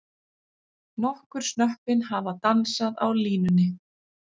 Nokkur snöppin hafa dansað á línunni.